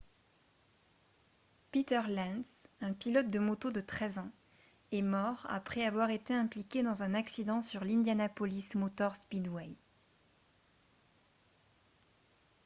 peter lenz un pilote de moto de 13 ans est mort après avoir été impliqué dans un accident sur l'indianapolis motor speedway